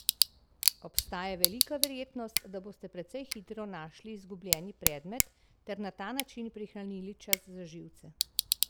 Obstaja velika verjetnost, da boste precej hitro našli izgubljeni predmet ter na ta način prihranili čas in živce.